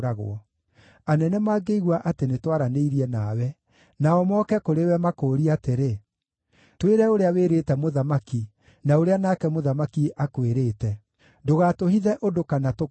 Anene mangĩigua atĩ nĩtwaranĩirie nawe, nao moke kũrĩ we makũũrie atĩrĩ, ‘Twĩre ũrĩa wĩrĩte mũthamaki, na ũrĩa nake mũthamaki akwĩrĩte; ndũgatũhithe ũndũ kana tũkũũrage,’